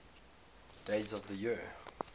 days of the year